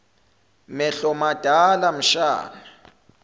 mehlo madala mshana